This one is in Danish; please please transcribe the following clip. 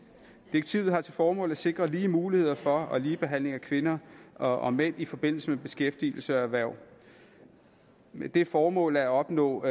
direktivet har til formål at sikre lige muligheder for og ligebehandling af kvinder og mænd i forbindelse med beskæftigelse og erhverv med det formål at opnå